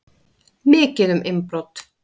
Mikið um innbrot